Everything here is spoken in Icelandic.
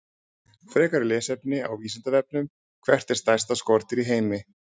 Frekara lesefni á Vísindavefnum: Hvert er stærsta skordýr í heimi?